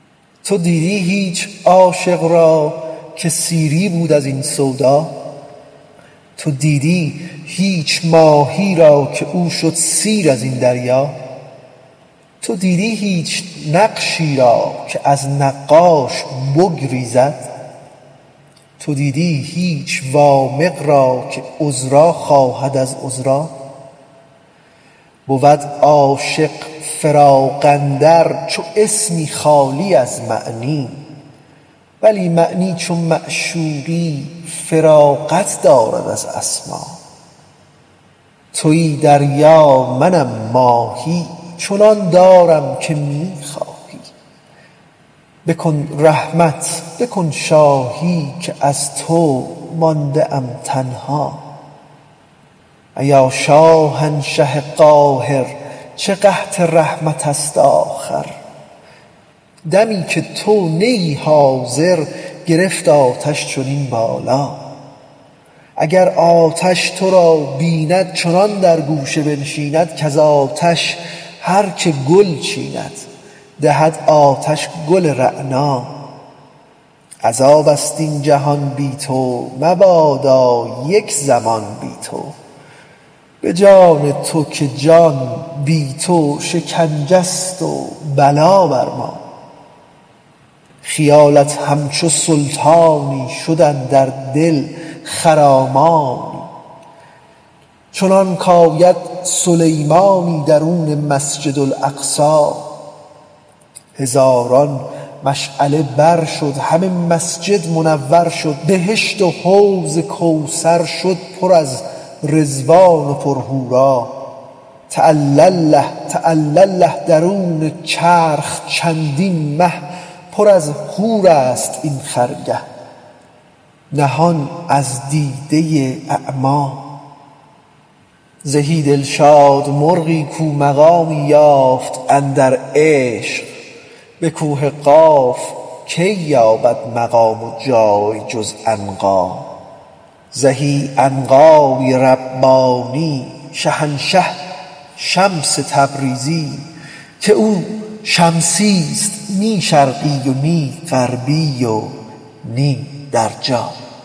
تو دیدی هیچ عاشق را که سیری بود از این سودا تو دیدی هیچ ماهی را که او شد سیر از این دریا تو دیدی هیچ نقشی را که از نقاش بگریزد تو دیدی هیچ وامق را که عذرا خواهد از عذرا بود عاشق فراق اندر چو اسمی خالی از معنی ولی معنی چو معشوقی فراغت دارد از اسما توی دریا منم ماهی چنان دارم که می خواهی بکن رحمت بکن شاهی که از تو مانده ام تنها ایا شاهنشه قاهر چه قحط رحمت ست آخر دمی که تو نه ای حاضر گرفت آتش چنین بالا اگر آتش تو را بیند چنان در گوشه بنشیند کز آتش هر که گل چیند دهد آتش گل رعنا عذاب ست این جهان بی تو مبادا یک زمان بی تو به جان تو که جان بی تو شکنجه ست و بلا بر ما خیالت همچو سلطانی شد اندر دل خرامانی چنانک آید سلیمانی درون مسجد اقصی هزاران مشعله بر شد همه مسجد منور شد بهشت و حوض کوثر شد پر از رضوان پر از حورا تعالی الله تعالی الله درون چرخ چندین مه پر از حورست این خرگه نهان از دیده اعما زهی دلشاد مرغی کو مقامی یافت اندر عشق به کوه قاف کی یابد مقام و جای جز عنقا زهی عنقای ربانی شهنشه شمس تبریزی که او شمسی ست نی شرقی و نی غربی و نی در جا